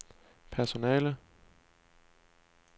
personale